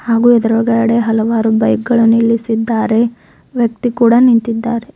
ಹಾಗು ಎದ್ರುಗಡೆ ಹಲವಾರು ಬೈಕ್ ಗಳು ನಿಲ್ಲಿಸಿದ್ದಾರೆ ವ್ಯಕ್ತಿ ಕೂಡ ನಿಂತಿದ್ದಾರೆ.